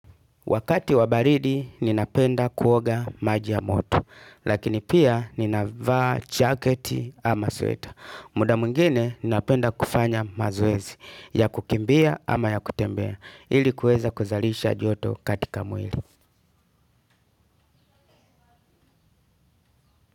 Wakati wa baridi ninapenda kuoga maji ya moto, lakini pia ninavaa jacket ama sweater. Muda mwingine ninapenda kufanya mazoezi, ya kukimbia ama ya kutembea, ili kuweza kuzalisha joto katika mwili.